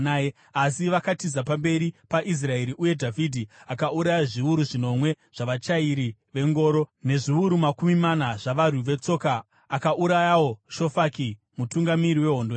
Asi vakatiza pamberi paIsraeri, uye Dhavhidhi akauraya zviuru zvinomwe zvavachairi vengoro, nezviuru makumi mana zvavarwi vetsoka. Akaurayawo Shofaki mutungamiri wehondo yavo.